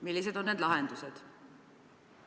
Millised on need lahendused?